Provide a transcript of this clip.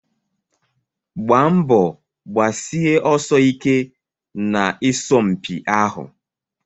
Gbaa mbọ gbasie ọsọ ike na isọmpi ahụ!